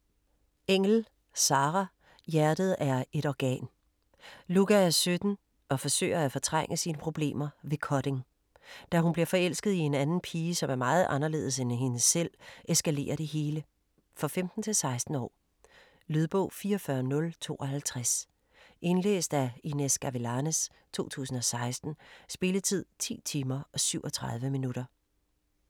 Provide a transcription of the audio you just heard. Engell, Sarah: Hjertet er 1 organ Lucca er 17 og forsøger at fortrænge sine problemer ved cutting. Da hun bliver forelsket i en anden pige, som er meget anderledes end hende selv, eskalerer det hele. For 15-16 år. Lydbog 44052 Indlæst af Inez Gavilanes, 2016. Spilletid: 10 timer, 37 minutter.